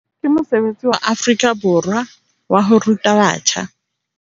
Ke mosebetsi wa Afrika Borwa waho ruta batjha